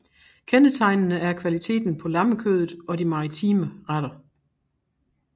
Kendetegnende er kvaliteten på lammekødet og de maritime retter